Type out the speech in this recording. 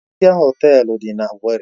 Protia Họtelu dị na owerri.